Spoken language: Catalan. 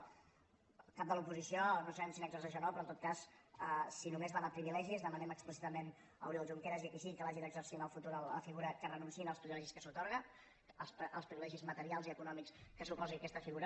el cap de l’oposició no sabem si n’exerceix o no però en tot cas si només va de privilegis demanem explícitament a oriol junqueras i a qui sigui que hagi d’exercir en el futur la figura que renunciïn als privilegis que s’atorguen als privilegis materials i econòmics que suposi aquesta figura